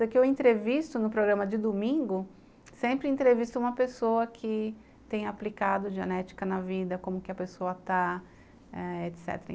Até que eu entrevisto no programa de domingo, sempre entrevisto uma pessoa que tem aplicado genética na vida, como que a pessoa está, etecetera.